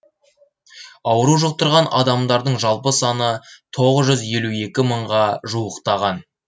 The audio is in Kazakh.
ауру жұқтырған адамдардың жалпы саны мыңға жуықтаған